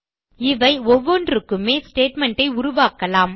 இவை ஒவ்வொன்றுக்குமே ஸ்டேட்மெண்ட் ஐ உருவாகலாம்